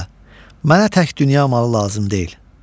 Paşa, mənə tək dünya malı lazım deyil.